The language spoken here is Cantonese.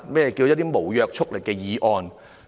何謂無約束力的議案？